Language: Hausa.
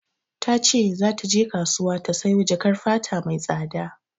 Ta ce za ta kasuwa ta sayo jakar fata mai tsada.